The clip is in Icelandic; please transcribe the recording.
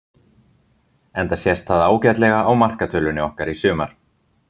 Enda sést það ágætlega á markatölunni okkar í sumar.